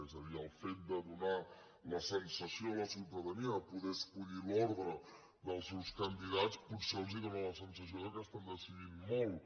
és a dir el fet de donar la sensació a la ciutadania de poder escollir l’ordre dels seus candidats potser els dóna la sensació que estan decidint molt